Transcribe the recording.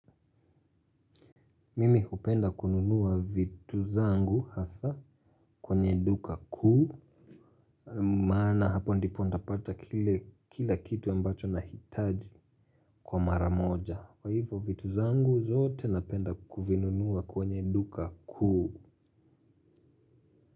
Mimi hupenda kununua vitu zangu hasa kwenye duka kuu. Maana hapo ndipo nitapata kile kila kitu ambacho nakihitaji kwa mara moja. Kwa hivyo vitu vyangu zote napenda kuvinunua kwenye duka kuu.